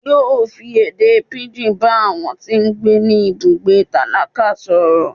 yóò fí èdè pigín bá àwọn tí gbé ní ibùgbé tálákà soró